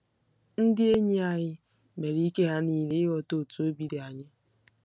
Ndị enyi anyị mere ike ha niile ịghọta otú obi dị anyị. ”